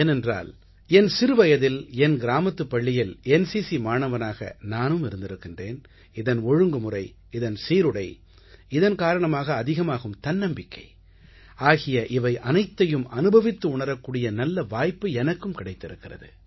ஏனென்றால் என் சிறுவயதில் என் கிராமத்துப் பள்ளியில் என்சிசி மாணவனாக நானும் இருந்திருக்கிறேன் இதன் ஒழுங்குமுறை இதன் சீருடை இதன் காரணமாக அதிகமாகும் தன்னம்பிக்கை ஆகிய இவை அனைத்தையும் அனுபவித்து உணரக்கூடிய நல்ல வாய்ப்பு எனக்கும் கிடைத்திருக்கிறது